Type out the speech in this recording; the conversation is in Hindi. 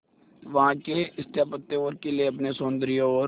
वहां के स्थापत्य और किले अपने सौंदर्य और